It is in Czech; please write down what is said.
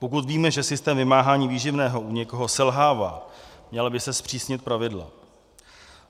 Pokud víme, že systém vymáhání výživného u někoho selhává, měla by se zpřísnit pravidla.